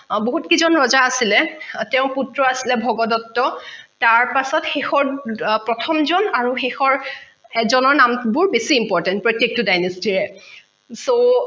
বহুত কিজন ৰজা আছিলে তেওঁৰ পুত্ৰ আছিলে ভগদত্ত তাৰপাছত শেষৰ প্ৰথমজন আৰু শেষৰ হেজনৰ নামবোৰ বেছি important প্ৰত্যেকতো dynasty ৰে so